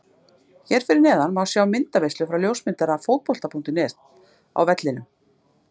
Hér að neðan má sjá myndaveislu frá ljósmyndara Fótbolta.net á vellinum.